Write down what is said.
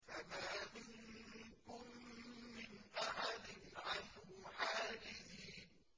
فَمَا مِنكُم مِّنْ أَحَدٍ عَنْهُ حَاجِزِينَ